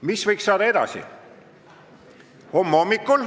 Mis võiks saada edasi?